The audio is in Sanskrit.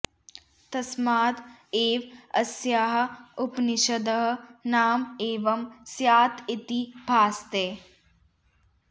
तस्माद् एव अस्याः उपनिषदः नाम एवं स्यात् इति भासते